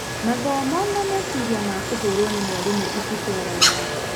Mathomo na meciria ma kũhũrwo nĩ mwarimũ ititwaranaga .